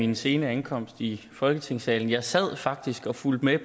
min sene ankomst i folketingssalen jeg sad faktisk og fulgte med